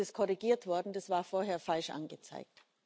Gut, jetzt ist es korrigiert worden, das war vorher falsch angezeigt.